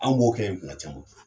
An b'o kɛ kuma caman